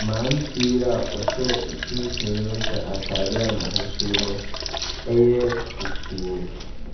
mmeranteɛ yi a ɔhyɛ mfimfini no hyɛ atadeɛ a n'ahosuo no yɛ fufuo.